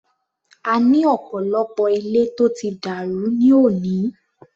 A ní ọ̀pọ̀lọpọ̀ ilé tó ti dàrú ní òní.